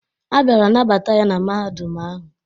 A bịara nabata ya na Mahadum ahụ.